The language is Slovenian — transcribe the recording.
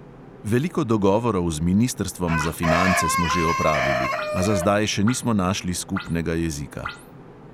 Veliko dogovorov z ministrstvom za finance smo že opravili, a za zdaj še nismo našli skupnega jezika.